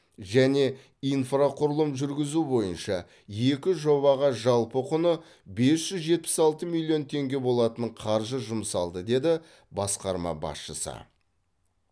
және инфрақұрылым жүргізу бойынша екі жобаға жалпы құны бес жүз жетпіс алты миллион теңге болатын қаржы жұмсалды деді басқарма басшысы